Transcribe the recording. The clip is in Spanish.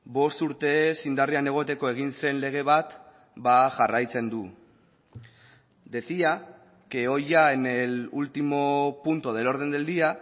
bost urtez indarrean egoteko egin zen lege bat jarraitzen du decía que hoy ya en el último punto del orden del día